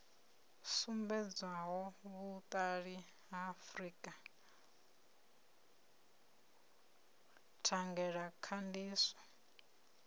sumbedzaho vhuṱali ha frika thangelakhandiso